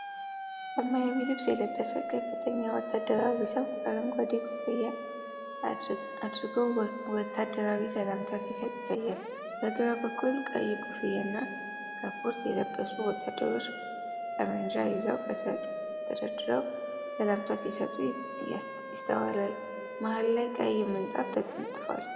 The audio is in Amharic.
ሰማያዊ ልብስ የለበሰ ከፍተኛ ወታደራዊ ሰው አረንጓዴ ኮፍያ አድርጎ ወታደራዊ ሰላምታ ሲሰጥ ይታያል። በግራ በኩል ቀይ ኮፍያና ካፖርት የለበሱ ወታደሮች ጠመንጃ ይዘው በሰልፍ ተሰድረው ሰላምታ ሲሰጡ ይስተዋላል። መሃል ላይ ቀይ ምንጣፍ ተነጥፏል።